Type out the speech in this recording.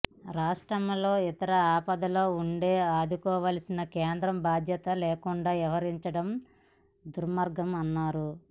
రాష్ట్రం ఇంత ఆపదలో ఉంటే ఆదుకోవాల్సిన కేంద్రం బాధ్యత లేకుండా వ్యవహరించడం దుర్మార్గమన్నారు